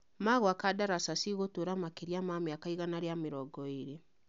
Magwaka ndaraca cigũtũra makĩria ma mĩaka igana rĩa mĩrongo ĩĩrĩ